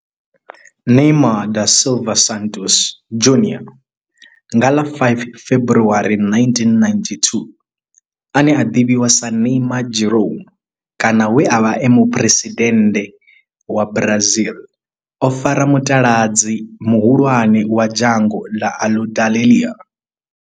Neymar da Silva Santos Junior nga ḽa 5 February 1992, ane a ḓivhiwa sa Neymar Jeromme kana we a vha e muphuresidennde wa Brazil o fara mutaladzi muhulwane wa dzhango ḽa Aludalelia.